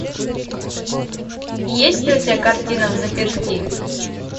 есть ли у тебя картина взаперти